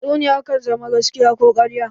Tatsuniya kan zama gaskiya ko ƙarya.